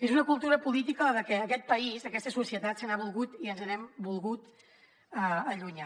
és una cultura política de la que aquest país aquesta societat s’ha volgut i ens hem volgut allunyar